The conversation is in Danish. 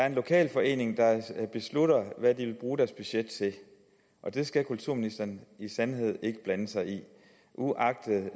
en lokalforening der beslutter hvad de vil bruge deres budget til og det skal kulturministeren i sandhed ikke blande sig i uagtet